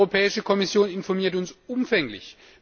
Die Europäische Kommission informiert uns umfänglich.